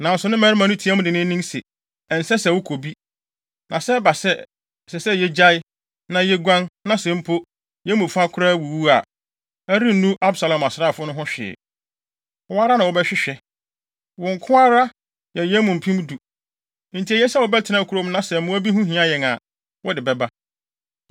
Nanso ne mmarima no tiaa mu denneennen se, “Ɛnsɛ se wokɔ bi. Na sɛ ɛba sɛ, ɛsɛ sɛ yegyae, na yeguan, na sɛ mpo, yɛn mu fa koraa wuwu a, ɛrennu Absalom asraafo no ho hwee. Wo ara na wɔbɛhwehwɛ. Wo nko ara yɛ yɛn mu mpem du, enti eye sɛ wobɛtena kurom na sɛ mmoa bi ho hia yɛn a, wode bɛba.”